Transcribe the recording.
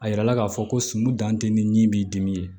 A yirala k'a fɔ ko sun dan tɛ ni b'i dimi